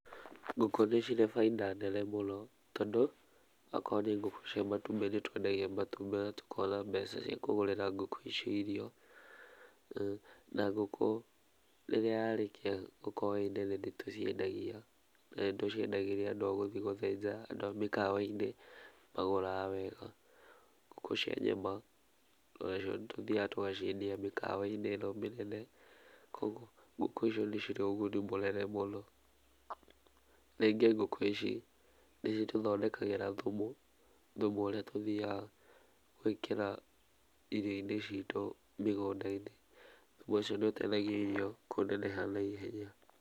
Ngũkũ nĩ cirĩ baida nene mũno, tondũ akorwo nĩ ngũkũ cia matumbĩ, nĩtwendagia matumbĩ na tũkagĩa mbeca cia kũgũrĩra ngũkũ icio irio, na ngũkũ rĩrĩa yarĩkia gũkorwo ĩ nene nĩ tũciendagia, nĩtũciendagĩria andũ agũthiĩ gũthĩnja, andũ a mĩkawa-inĩ nĩ magũraga wega, ngũkũ cia nyama onacio nĩtũthiaga tũgaciendia mĩkawa-inĩ mĩnene, kugwo ngũkũ ici nĩ cirĩ ũguni mũnene mũno, rĩngĩ ngũkũ ici nĩcitũthondekagĩra thumu, thumu ũrĩa tũthiaga gwĩkĩra irio-inĩ citũ mĩgunda-inĩ , thumu ũcio nĩ ũtethagĩrĩria kũneneha na ihenya.